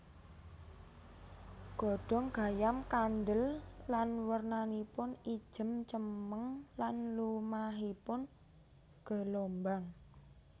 Godhong gayam kandhel lan wernanipun ijem cemeng lan lumahipun gelombang